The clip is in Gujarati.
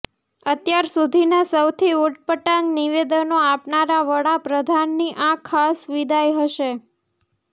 અત્યાર સુધીના સૌથી ઉટપટાંગ નિવેદનો આપનારા વડાપ્રધાનની આ ખાસ વિદાય હશે